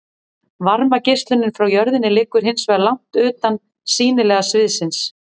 varmageislunin frá jörðinni liggur hins vegar langt utan sýnilega sviðsins